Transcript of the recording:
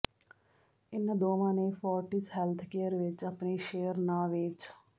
ਇਨ੍ਹਾਂ ਦੋਵਾਂ ਨੇ ਫੋਰਟਿਸ ਹੈਲਥਕੇਅਰ ਵਿਚ ਆਪਣੇ ਸ਼ੇਅਰ ਨਾ ਵੇਚ